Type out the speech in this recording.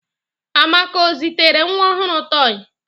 Amaka ọ ga-ezitere nwa ọhụrụ tọị?